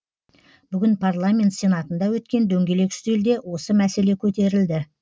бүгін парламент сенатында өткен дөңгелек үстелде осы мәселе көтерілді